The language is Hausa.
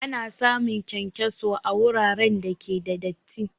Ana samun kyankyaso a wuraren da ke da datti